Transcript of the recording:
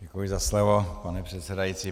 Děkuji za slovo, pane předsedající.